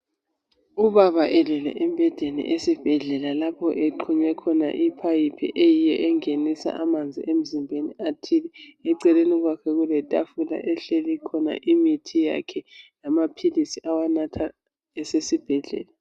Ubaba elele embhedeni esibhedlela ,lapho exunywe khona iphayiphi eyiyo engenisa amanzi emzimbeni athile. Eceleni kwakhe kulethafula ehleli khona imithi yakhe lamaphilisi awabatha esesibhedlela.